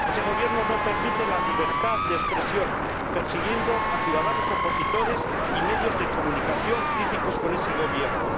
Ese Gobierno no permite la libertad de expresión, persiguiendo a ciudadanos opositores y medios de comunicación críticos con ese Gobierno.